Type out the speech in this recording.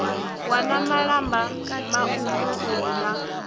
wana malamba mauku uri na